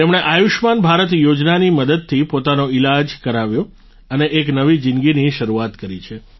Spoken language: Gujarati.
તેમણે આયુષ્યમાન ભારત યોજનાની મદદથી પોતાનો ઈલાજ કરાવ્યો અને એક નવી જિંદગીની શરૂઆત કરી છે